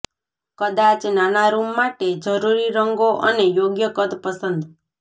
કદાચ નાના રૂમ માટે જરૂરી રંગો અને યોગ્ય કદ પસંદ